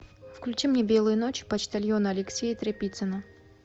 включи мне белые ночи почтальона алексея тряпицына